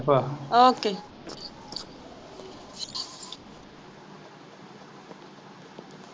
OK